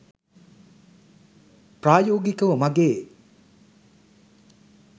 ප්‍රායෝගිකව මගේ